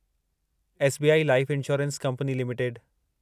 SBI life insurance company limited